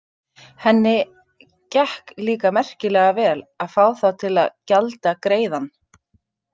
Henni gekk líka merkilega vel að fá þá til að gjalda greiðann.